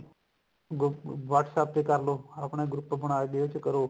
google WhatsApp ਤੇ ਕਰਲੋ ਆਪਣਾ group ਬਣਾਇਓ ਵੀ ਇਹ ਚ ਕਰੋ